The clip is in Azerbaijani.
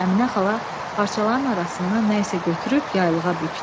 Əminə xala parçaların arasından nə isə götürüb yaylığa bükdü.